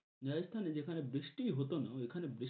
রাজস্থানে যেখানে বৃষ্টি হতো না ঐখানে